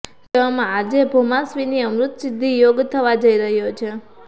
તેવામાં આજે ભૌમાશ્વિની અમૃતસિદ્ધિ યોગ થવા જઈ રહ્યો છે